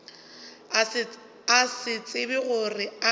a se tsebe gore a